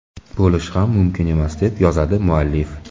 Bo‘lishi ham mumkin emas”, deb yozadi muallif.